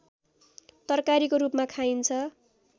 तरकारीको रूपमा खाइन्छ